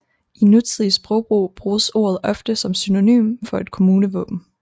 I nutidig sprogbrug bruges ordet ofte som synonym for et kommunevåben